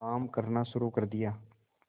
काम करना शुरू कर दिया